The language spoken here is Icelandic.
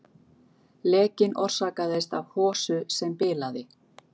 Lekinn orsakaðist af hosu sem bilaði